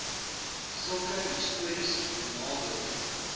sulke histories benadeelde